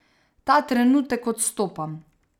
Ta trenutek odstopam.